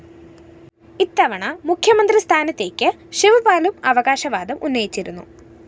ഇത്തവണ മുഖ്യമന്ത്രി സ്ഥാനത്തേക്ക് ശിവ്പാലും അവകാശവാദം ഉന്നയിച്ചിരുന്നു